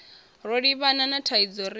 ro livhana na thaidzo ri